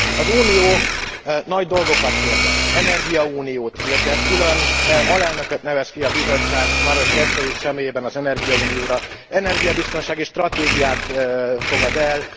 Az Unió nagy dolgokat hirdet energiauniót hirdet, külön alelnököt nevez ki a Bizottság Maroš Šefčovič személyében az energiaunióra, energiabiztonsági stratégiát fogad el.